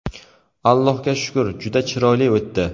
Allohga shukr, juda chiroyli o‘tdi.